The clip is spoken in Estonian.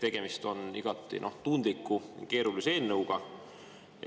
Tegemist on igati tundliku, keerulise eelnõuga.